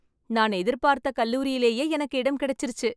நான் எதிர்பாத்த கல்லூரிலேயே எனக்கு இடம் கிடைச்சுருச்சு.